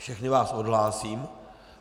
Všechny vás odhlásím.